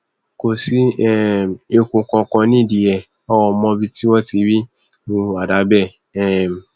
kò sí um èèkù kankan nídìí ẹ a ò mọbi tí wọn ti rí irú àdá bẹẹ um